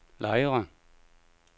Lejre